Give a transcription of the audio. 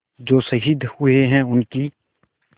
जो शहीद हुए हैं उनकी